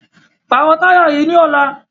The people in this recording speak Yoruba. Pàrọ̀ táyà yìí ní ọ̀la!